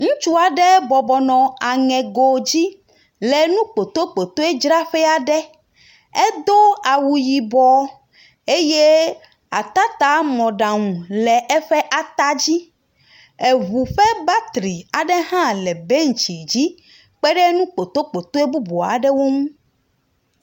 ŋutsuaɖé bɔbɔnɔ aŋegodzi le nu kpotokpotoedzráƒɛaɖe. Édó awuyibɔ eyɛ atatamɔɖaŋu le ɛƒɛ atadzi. Eʋu ƒe batri aɖehã le bɛntsidzi kpɛɖɛ nukpotokpotoe bubu aɖɛwó ŋu.